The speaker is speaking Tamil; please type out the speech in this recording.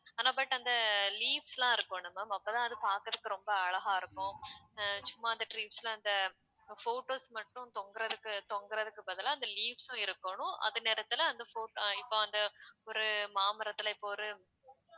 ஆனா but அந்த leaves லாம் இருக்கும்ல ma'am அப்ப தான் அது பாக்குறதுக்கு ரொம்ப அழகா இருக்கும் அஹ் சும்மா அந்த trees ல அந்த photos மட்டும் தொங்குறதுக்கு தொங்குறதுக்கு பதிலா அந்த leaves உம் இருக்கணும் அதே நேரத்துல அந்த pho~ இப்ப அந்த ஒரு மாமரத்துல இப்ப ஒரு